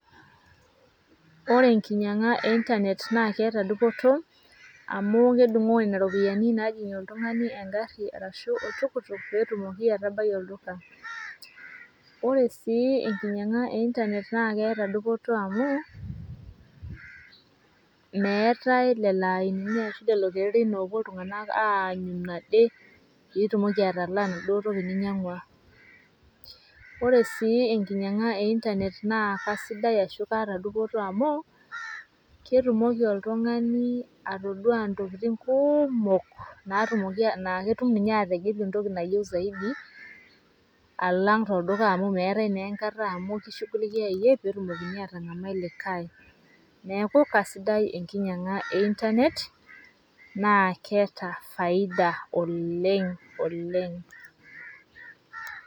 Ore enkinyang'a e Internet na keeta dupoto, amu kedung'oo nena ropiyaiani najing'ie oltung'ani egarri ashu oltukutuk, petumoki atabai olduka. Ore sii enkinyang'a e Internet na keeta dupoto amu, meetae lelo ainini ashu lelo kererin lopuo iltung'anak aanyuno ade, pitumoki atalaa enaduo toki ninyang'ua. Ore sii enkinyang'a e Internet na kasidai ashu keeta dupoto amu, ketumoki oltung'ani atodua ntokiting' kuumok, natumoki naketum ninye ategelu entoki nayieu zaidi, alang' tolduka amu meetae naa enkata amu ki shughulikiai iyie, petumokini atang'amai likae. Neeku kasidai enkinyang'a e Internet ,na keeta faida oleng'oleng'.